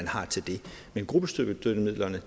har til det men gruppestøttemidlerne